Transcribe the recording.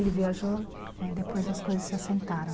Ele viajou e depois as coisas se assentaram.